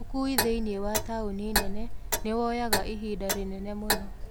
ukui thĩini wa taũni nene nĩwoyaga ihinda rĩnene mũno